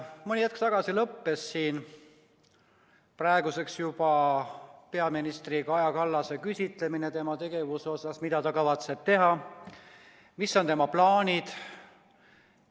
Mõni hetk tagasi lõppes siin praeguseks juba peaministri Kaja Kallase küsitlemine, mida ta kavatseb teha, mis on tema plaanid.